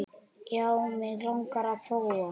Já, mig langar að prófa.